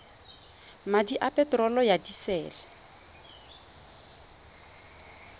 madi a peterolo ya disele